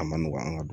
A ma nɔgɔn an ka du